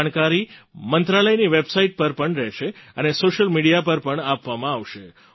આ જાણકારી મંત્રાલયની વેબસાઇટ પર પણ રહેશે અને સૉશિયલ મિડિયા પર પણ આપવામાં આવશે